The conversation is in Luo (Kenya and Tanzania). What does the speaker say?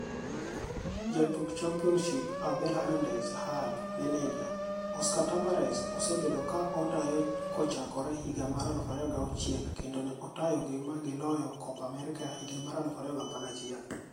Jatuk Championship: Abel Hernandez (Hull) Maneja: Oscar Tabarez osebedo ka otayokochakre higa mar 2006 kendo ne otayogi magi loyo Copa America higa mar 2011.